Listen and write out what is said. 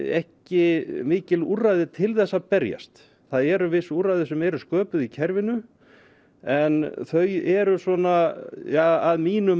ekki mikil úrræði til þess að berjast það eru viss úrræði sem eru sköpuð í kerfinu en þau eru svona að mínu